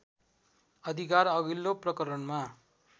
अधिकार अघिल्लो प्रकरणमा